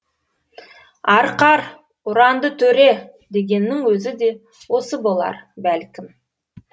арқар ұранды төре дегеннің өзі де осы болар бәлкім